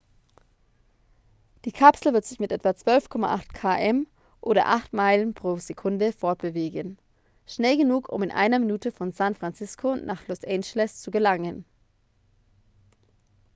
die kapsel wird sich mit etwa 12,8 km oder 8 meilen pro sekunde fortbewegen schnell genug um in einer minute von san francisco nach los angeles zu gelangen